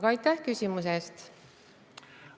Aga aitäh küsimuse eest!